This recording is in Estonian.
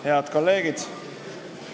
Head kolleegid!